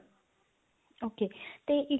okay ਤੇ ਇੱਕ